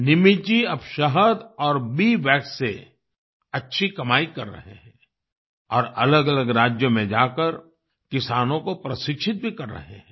निमित जी अब शहद और बी वैक्स से अच्छी कमाई कर रहे हैं और अलगअलग राज्यों में जाकर किसानों को प्रशिक्षित भी कर रहे हैं